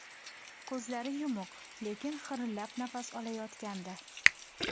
Ko‘zlari yumuq, lekin xirillab nafas olayotgandi.